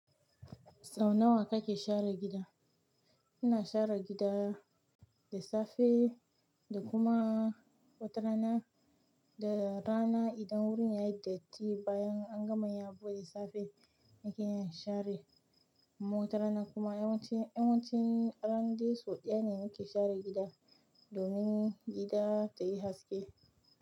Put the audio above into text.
Sau nawa kake share gida? Ina share gida da safe da kuma wata rana, da rana idan wurin yayi dirty bayan an gama yin abu da safe zan iya in share, kuma wata rana kuma yawanci, yawanci ran de so ɗaya ne nake share gida domin gida tayi haske.